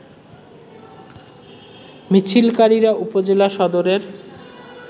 মিছিলকারিরা উপজেলা সদরের